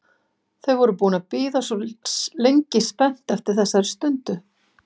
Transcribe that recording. Þau voru búin að bíða svo lengi spennt eftir þessari stundu.